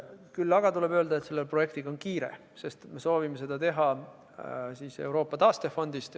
Küll aga tuleb öelda, et selle projektiga on kiire, sest me soovime seda teha Euroopa taastefondi abil.